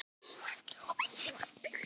Erla: Hefurðu smakkað svona áður?